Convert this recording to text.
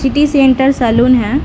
City centre salon है।